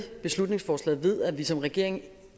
beslutningsforslaget ved at vi som regering